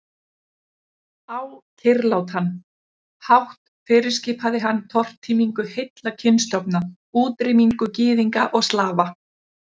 Á kyrrlátan. hátt fyrirskipaði hann tortímingu heilla kynstofna, útrýmingu Gyðinga og Slafa.